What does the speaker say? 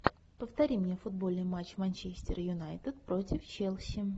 повтори мне футбольный матч манчестер юнайтед против челси